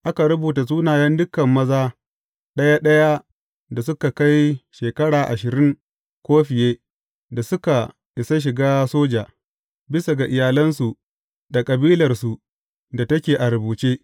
Aka rubuta sunayen dukan maza ɗaya ɗaya da suka kai shekara ashirin ko fiye da suka isa shiga soja, bisa ga iyalansu da kabilarsu da take a rubuce.